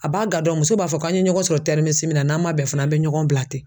A b'a gan dɔn muso b'a fɔ k'an ye ɲɔgɔn sɔrɔ tɛriminisi na n'an ma bɛn fana an be ɲɔgɔn bila ten